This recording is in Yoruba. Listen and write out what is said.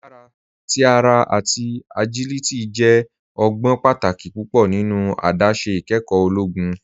Agbara ti ara ati agiliti jẹ ọgbọn pátàkì púpọ nínu àdásé ìkẹ́kọ ologun.